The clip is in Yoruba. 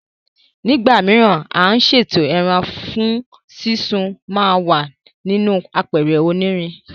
Ní ìgbà mìíràn, à ń ṣètò ẹran fún súnsun ma wà nínú àpẹ̀rẹ̀ onírin